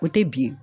O tɛ bilen